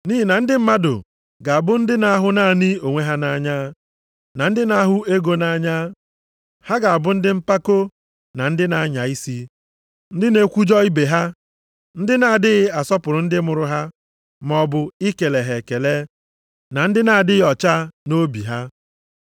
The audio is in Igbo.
Nʼihi na ndị mmadụ ga-abụ ndị na-ahụ naanị onwe ha nʼanya, na ndị na-ahụ ego nʼanya. Ha ga-abụ ndị mpako, na ndị na-anya isi, ndị na-ekwujọ ibe ha, ndị na-adịghị asọpụrụ ndị mụrụ ha, maọbụ ikele ha ekele, na ndị na-adịghị ọcha nʼobi ha.